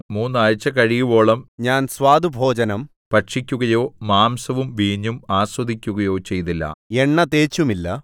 മൂന്ന് ആഴ്ച കഴിയുവോളം ഞാൻ സ്വാദുഭോജനം ഭക്ഷിക്കുകയോ മാംസവും വീഞ്ഞും ആസ്വദിക്കുകയോ ചെയ്തില്ല എണ്ണ തേച്ചുമില്ല